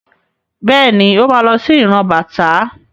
Bẹ́ẹ̀ni, Ó ma lọ sí ìran bàtá.